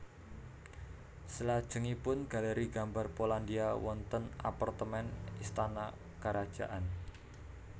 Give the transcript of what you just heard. Selajengipun Galeri Gambar Polandia wonten apartemen istana karajaan